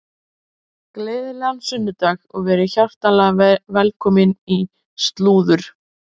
Gleðilegan sunnudag og verið hjartanlega velkomin í slúður.